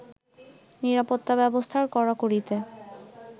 নিরাপত্তা ব্যবস্থার কড়াকড়িতে